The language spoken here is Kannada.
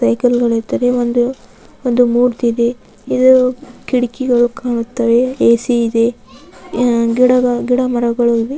ವೆಹಿಕಲ್ ಗಳು ಇದ್ದರೆ. ಒಂದು ಒಂದು ಮೂರ್ತಿ ಇದೆ. ಇದು ಕಿಡಕಿಗಳು ಕಾಣುತ್ತವೆ. ಎ.ಸಿ ಇದೆ. ಅಹ್ ಗಿಡಗಳ್ ಗಿಡ ಮರಗಳ ಇವೆ.